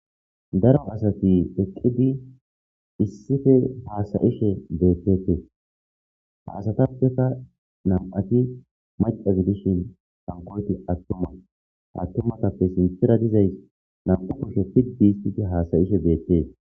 Daro asathi eqqidi issipe haasa7ishe beeththeeththes ;ha asathappeka nam7athi macca gidishin hankkoythi aththuma; aththumagappe sinththera dizayssi naa7u kushe piddissi haasa7ishe beeththees.